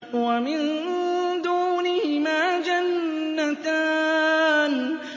وَمِن دُونِهِمَا جَنَّتَانِ